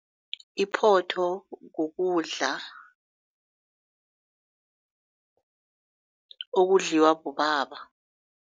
Iphotho kukudla okudliwa bobaba.